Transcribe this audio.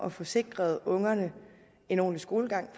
at få sikret ungerne en ordentlig skolegang